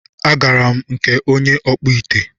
A garam na nke onye ọkpụ ite